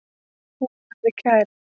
Hún verði kærð.